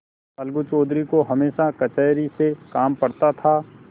अलगू चौधरी को हमेशा कचहरी से काम पड़ता था